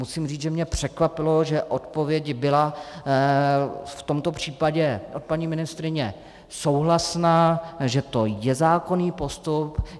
Musím říct, že mě překvapilo, že odpověď byla v tomto případě od paní ministryně souhlasná, že to je zákonný postup.